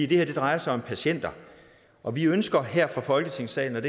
det her drejer sig om patienter og vi ønsker her fra folketingssalen